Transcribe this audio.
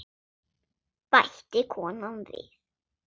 bætti konan við.